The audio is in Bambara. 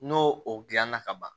N'o o gilanna ka ban